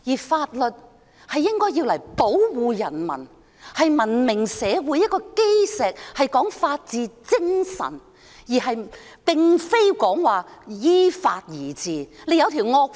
法律應是保護人民的，文明社會的基石應是法治精神，並非依法而治。